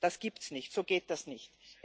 Das gibt es nicht, so geht das nicht.